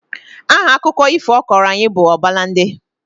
Aha akụkọ ifo ọ kọọrọ anyị bụ Ọbalande